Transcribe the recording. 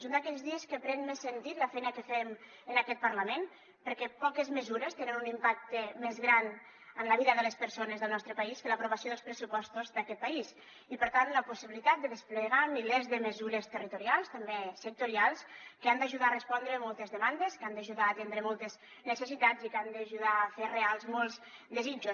és un d’aquells dies que pren més sentit la feina que fem en aquest parlament perquè poques mesures tenen un impacte més gran en la vida de les persones del nostre país que l’aprovació dels pressupostos d’aquest país i per tant la possibilitat de desplegar milers de mesures territorials també sectorials que han d’ajudar a respondre moltes demandes que han d’ajudar a atendre moltes necessitats i que han d’ajudar a fer reals molts desitjos